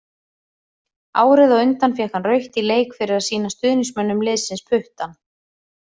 Árið á undan fékk hann rautt í leik fyrir að sýna stuðningsmönnum liðsins puttann.